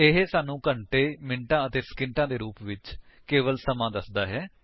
ਇਹ ਸਾਨੂੰ ਘੰਟੇ ਮਿੰਟਾਂ ਅਤੇ ਸਕਿੰਟਾਂ hhmmਐਸਐਸ ਦੇ ਰੂਪ ਵਿੱਚ ਕੇਵਲ ਸਮਾਂ ਦੱਸਦਾ ਹੈ